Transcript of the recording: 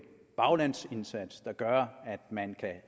baglandsindsats der gør at man kan